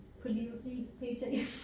På livet lige p.t.